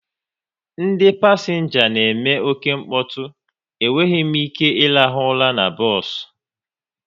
Ndị pasenga na eme oke nkpotu, e nweghị m ike irahu ụra n'bos